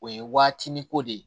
O ye waati ni ko de ye